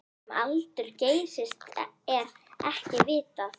Um aldur Geysis er ekki vitað.